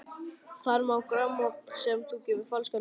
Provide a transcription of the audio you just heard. Þar má hlusta á grammófón sem að gefur falskan tón.